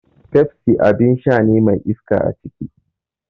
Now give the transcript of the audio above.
Pepsi abin sha ne mai iska aciki.